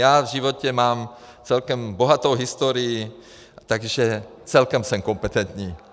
Já v životě mám celkem bohatou historii, takže celkem jsem kompetentní.